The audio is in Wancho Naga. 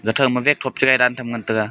ga thow ma che gai dan tham ngan tega.